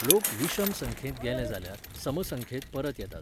लोक विशम संख्येंत गेले जाल्यार सम संख्येंत परत येतात.